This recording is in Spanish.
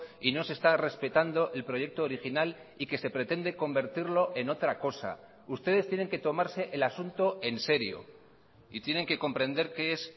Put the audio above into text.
y no se está respetando el proyecto original y que se pretende convertirlo en otra cosa ustedes tienen que tomarse el asunto en serio y tienen que comprender qué es